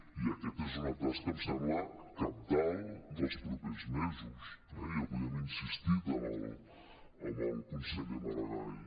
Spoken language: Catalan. i aquesta és una tasca em sembla cabdal dels propers mesos eh i avui hi hem insistit amb el conseller maragall